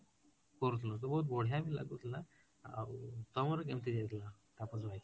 କରୁଥିଲୁ ତ ବହୁତ ବଢିଆ ବି ଲାଗୁଥିଲା ଆଉ ତମର କେମିତି ଯାଇଥିଲା, ତାପସ ଭାଇ?